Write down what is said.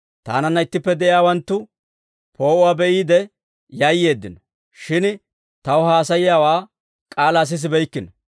Taananna ittippe de'iyaawanttu poo'uwaa be'iide yayyeeddino; shin taw haasayiyaawaa k'aalaa sisibeykkino.